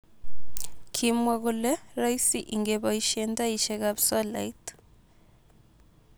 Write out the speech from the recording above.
Kimwaa kole roisi ingepoishen taishekap solait